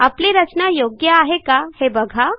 आपली रचना योग्य आहे का हे बघा